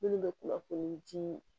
Minnu bɛ kunnafoni jii